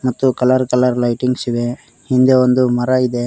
ಮತ್ತು colour colour lightings ಇದೆ ಹಿಂದೆ ಒಂದು ಮರ ಇದೆ.